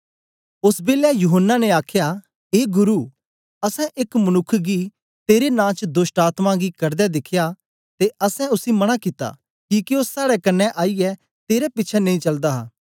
ओस बेलै यूहन्ना ने आखया ए गुरु असैं एक मनुक्ख गी तेरे नां च दोष्टआत्मायें कढदे दिखया ते असैं उसी मना कित्ता किके ओ साड़े कन्ने ओईयै तेरे पिछें नेई चलदा हा